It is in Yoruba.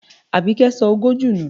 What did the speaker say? Àbíkẹ́ sọ ọgọ́jọ nù.